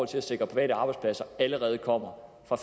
til at sikre private arbejdspladser allerede kommer fra